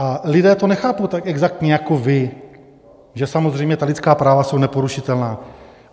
A lidé to nechápou tak exaktně jako vy, že samozřejmě ta lidská práva jsou neporušitelná.